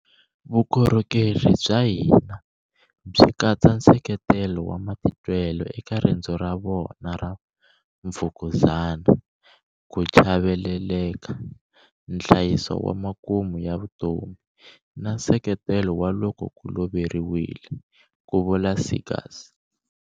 Vukorhokeri bya hina byi katsa nseketelo wa matitwelo eka rendzo ra vona ra mfukuzana, ku chaveleleka, nhlayiso wa makumu ya vutomi, na nseketelo ku loko va loveriwile, ku vula Seegers.